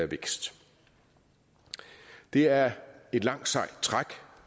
vækst det er et langt sejt træk